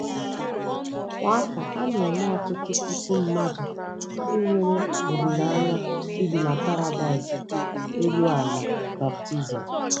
Kwa afọ, a na-eme ọtụtụ puku mmadụ ndị nwere olileanya ibi na paradaịs elu ala baptizim.